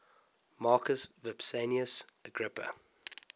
marcus vipsanius agrippa